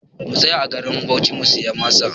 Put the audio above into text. Mu tsaya a garin Bauchi mu siya masa!